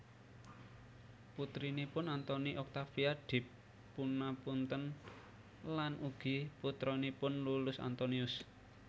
Putrinipun Anthony Octavia dipunapunten lan ugi putranipun Iullus Antonius